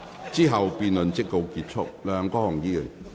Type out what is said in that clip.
之後辯論即告結束。